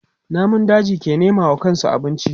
Namun daji ke nema wa kansu abinci.